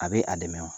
A bɛ a dɛmɛ wa